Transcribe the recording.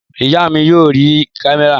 Ìyá mi yóò rí kámẹ́rà